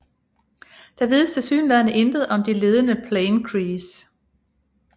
Der vides tilsyneladende intet om de ledende plain crees